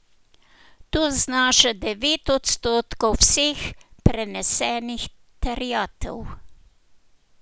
To znaša devet odstotkov vseh prenesenih terjatev.